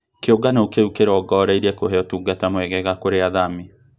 Kĩũngano kĩũ kĩrongoreirīe kũhe ũtungata mwegega kũrĩ athami